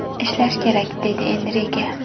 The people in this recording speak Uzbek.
Ishlash kerak”, deydi Enrike.